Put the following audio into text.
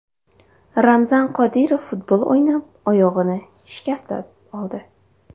Ramzan Qodirov futbol o‘ynab, oyog‘ini shikastlab oldi.